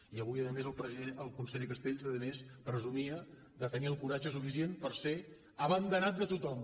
i avui a més el conseller castells a més presumia de tenir el coratge suficient per ser abanderat de tothom